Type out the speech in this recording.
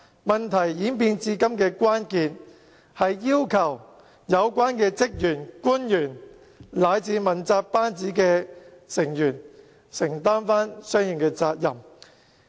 問題發展至今，關鍵在於要求有關的職員、官員以至問責班子承擔相應的責任。